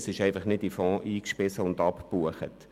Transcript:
es wird einfach nicht in den Fonds eingespeist und abgebucht.